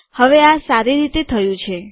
હવે આ સારી રીતે થયું છે